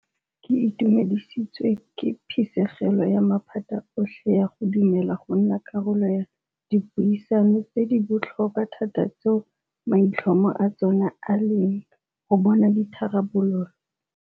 Ke itumedisitswe ke phisegelo ya maphata otlhe ya go dumela go nna karolo ya dipuisano tse di botlhokwa thata tseo maitlhomo a tsona e leng go bona ditharabololo.